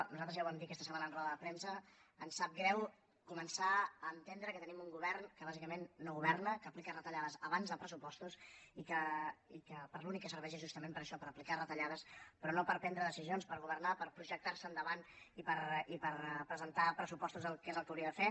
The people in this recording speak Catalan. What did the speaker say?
nosaltres ja ho vam dir aquesta setmana en roda de premsa ens sap greu començar a entendre que tenim un govern que bàsicament no governa que aplica retallades abans de pressupostos i que per a l’únic que serveix és justament per a això per aplicar retallades però no per prendre decisions per governar per projectar se endavant i per presentar pressupostos que és el que hauria de fer